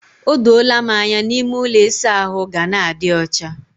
O doola m anya na ime ụlọ ịsa ahụ ga na-adi ọcha.